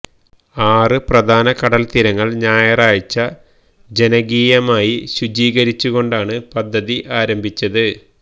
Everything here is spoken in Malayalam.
ആറ് പ്രധാന കടൽത്തീരങ്ങൾ ഞായറാഴ്ച ജനകീയമായി ശുചീകരിച്ചുകൊണ്ടാണ് പദ്ധതി ആരംഭിച്ചത്